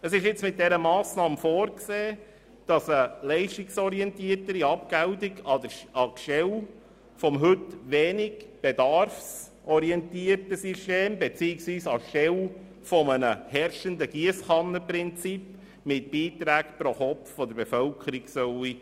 Es ist vorgesehen, mit dieser Massnahme eine leistungsorientiertere Abgeltung anstelle des heute wenig bedarfsorientierten Systems beziehungsweise anstelle des herrschenden Giesskannenprinzips mit Beiträgen pro Kopf der Bevölkerung einzusetzen.